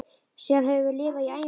Síðan höfum við lifað í ævintýri.